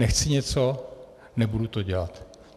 Nechci něco, nebudu to dělat.